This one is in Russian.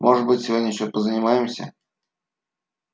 может быть сегодня ещё позанимаемся